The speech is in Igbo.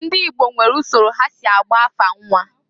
Ndị Igbo nwere usoro ha si agba afa nnwa.